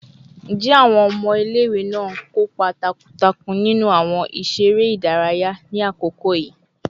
Njẹ awọn ọmọ ile-iwe naa n kopa takuntakun ninu awọn iṣẹ ere idaraya ni akoko yii?